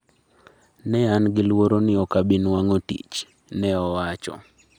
" ne an gi luoro ni ok abinuang'o tich," ne owacho